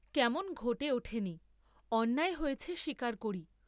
কেমন ঘটে ওঠে নি, অন্যায় হয়েছে স্বীকার করি।